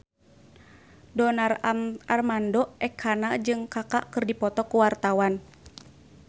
Donar Armando Ekana jeung Kaka keur dipoto ku wartawan